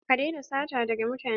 Ka daina sata daga mutane!